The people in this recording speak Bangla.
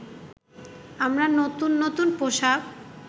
আমরা নতুন নতুন পোশাক